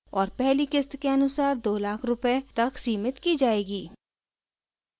और पहली क़िस्त के अनुसार 2 लाख रूपए तक सिमित की जाएगी